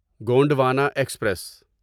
Gondwana express